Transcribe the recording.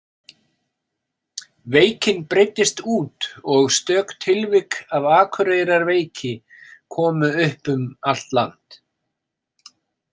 Veikin breiddist út og stök tilvik af Akureyrarveiki komu upp um allt land.